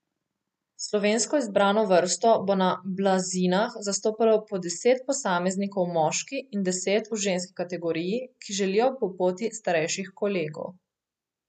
Slovensko izbrano vrsto bo na blazinah zastopalo po deset posameznikov v moški in deset v ženski kategoriji, ki želijo po poti starejših kolegov.